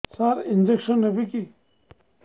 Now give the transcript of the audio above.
ସାର injection ନେବିକି